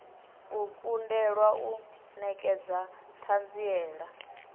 u kundelwa u nekedza thanziela